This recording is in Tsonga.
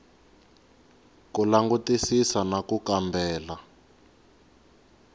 ku langutisisa na ku kambela